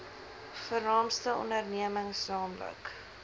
vernaamste ondernemings nl